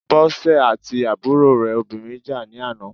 Bọ́sè àti àbúrò rẹ̀ obìnrin jà ní àná.